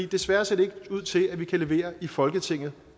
desværre ser det ikke ud til at vi kan levere i folketinget